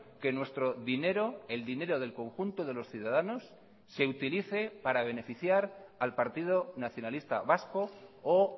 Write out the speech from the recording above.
que nuestro dinero el dinero del conjunto de los ciudadanos se utilice para beneficiar al partido nacionalista vasco o